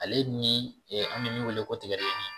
Ale ni an bɛ min wele ko tigadɛgɛnin